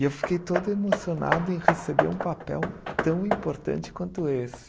E eu fiquei todo emocionado em receber um papel tão importante quanto esse.